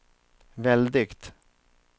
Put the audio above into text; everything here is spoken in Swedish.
väldigt